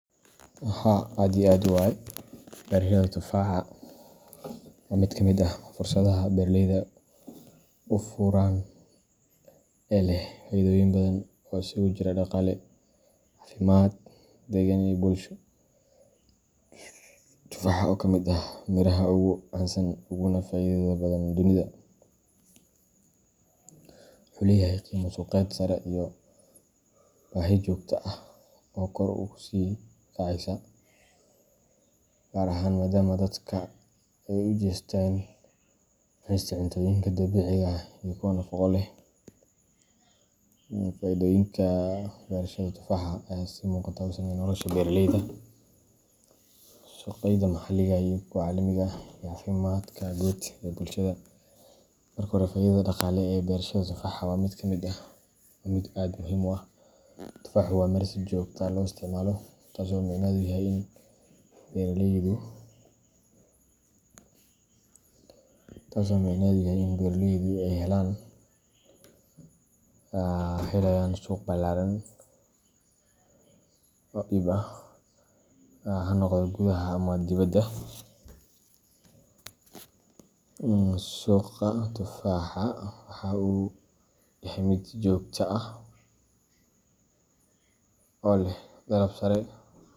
Haa aad iyo aad waye, Beerashada tufaaxa waa mid ka mid ah fursadaha beeraleyda u furan ee leh faa’iidooyin badan oo isugu jira dhaqaale, caafimaad, deegaan, iyo bulsho. Tufaaxa, oo ka mid ah miraha ugu caansan uguna faa’iidada badan dunida, wuxuu leeyahay qiimo suuqeed sare iyo baahi joogto ah oo kor u sii kacaysa, gaar ahaan maadaama dadka ay u jeesteen cunista cuntooyinka dabiiciga ah iyo kuwa nafaqo leh. Faa’iidooyinka beerashada tufaaxa ayaa si muuqata u saameeya nolosha beeraleyda, suuqyada maxalliga ah iyo kuwa caalamiga ah, iyo caafimaadka guud ee bulshada. Marka hore, faa’iidada dhaqaale ee beerashada tufaaxa waa mid muhiim ah. Tufaaxu waa miro si joogto ah loo isticmaalo, taas oo macnaheedu yahay in beeraleyda ay helayaan suuq ballaaran oo iib ah, ha noqdo gudaha ama dibadda. Suuqa tufaaxa waxa uu yahay mid joogto ah oo leh dalab sare.